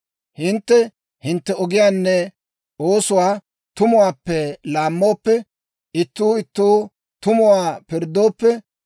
Hintte hintte ogiyaanne oosuwaa tumuwaappe laammooppe, ittuu ittoo tumuwaa pirddooppe,